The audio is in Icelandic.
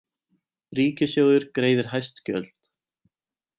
Ríkissjóður greiðir hæst gjöld